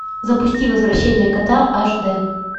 запусти возвращение кота аш дэ